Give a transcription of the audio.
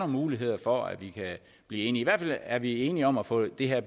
muligheder for at vi kan blive enige i hvert fald er vi enige om at få det her